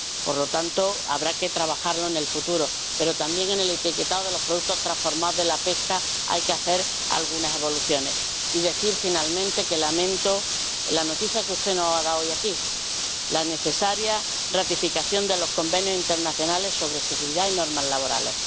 Por lo tanto, habrá que trabajarlo en el futuro, pero también en el etiquetado de los productos transformados de la pesca hay que hacer algunas modificaciones. Y decir, finalmente, que lamento la noticia que usted nos ha dado hoy, aquí, sobre la necesaria ratificación de los convenios internacionales sobre seguridad y normas laborales.